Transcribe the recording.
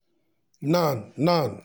nan nan